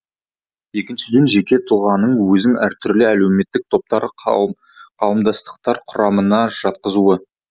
екіншіден жеке тұлғаның өзін әртүрлі әлеуметтік топтар қауымдастықтар құрамына жатқызуы